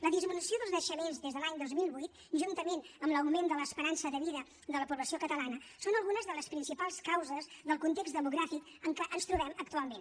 la disminució dels naixements des de l’any dos mil vuit juntament amb l’augment de l’esperança de vida de la població catalana són algunes de les principals causes del context demogràfic en què ens trobem actualment